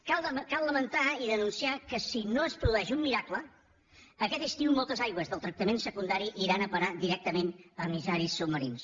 cal lamentar i denunciar que si no es produeix un miracle aquest estiu moltes aigües del tractament secundari aniran a parar directament a emissaris submarins